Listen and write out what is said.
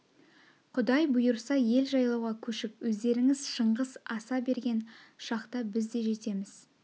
құдай бұйырса ел жайлауға көшіп өздерңіз шыңғыс аса берген шақта біз де жетеміз